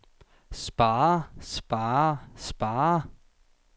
spare spare spare